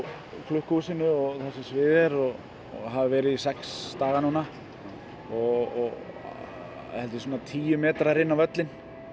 klukkuhúsinu og þar sem sviðið er og hafa verið í sex daga núna og þetta er svona tíu metrar inn á völlinn